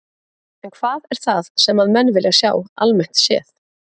En hvað er það sem að menn vilja sjá almennt séð?